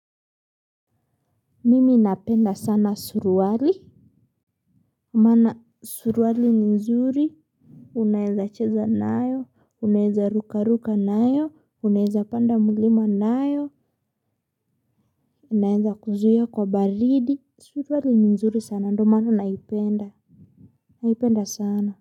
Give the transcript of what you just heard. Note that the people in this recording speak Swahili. Mimi napenda sana suruwali. Mana suruwali ni nzuri. Unaeza cheza nayo. Unaeza ruka ruka nayo. Unaeza panda mlima nayo. Unaeza kuzuia kwa baridi. Suruwali ni nzuri sana. Ndo maana naipenda. Naipenda sana.